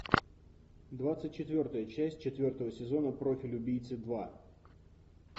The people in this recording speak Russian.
двадцать четвертая часть четвертого сезона профиль убийцы два